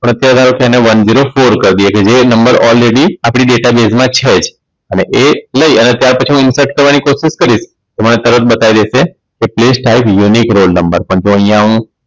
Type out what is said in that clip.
પ્રત્યા ધારો એને કે one zero for કરી દઈએ એટલે જે નંબર all ready આપણી Data Baez માં છે જ અને એ ત્યાર પછી હું Infert કરવાની કોશિશ કરીશ તો મને તરત બતાવી દેશે કે Tax Style Unique Roll Number પણ જો અહીંયા હું